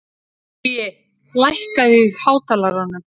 Baui, lækkaðu í hátalaranum.